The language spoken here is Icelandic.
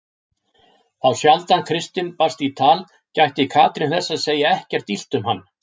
Þá sjaldan Kristinn barst í tal gætti Katrín þess að segja ekkert illt um hann.